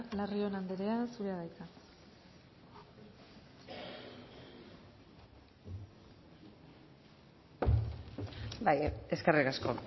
larrion anderea zurea da hitza eskerrik asko